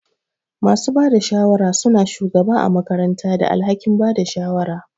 Masu bada shawara suna shugaba ã makaranta da alhakin Bada shawara